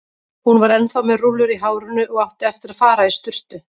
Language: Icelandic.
Hún var ennþá með rúllur í hárinu og átti eftir að fara í sturtu.